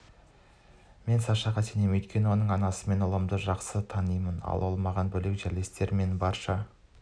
мен сашаға сенемін өйткені оның анасымен ұлымды жақсы танимын ал оған менен бөлек жерлестері мен барша